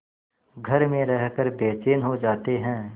घर में रहकर बेचैन हो जाते हैं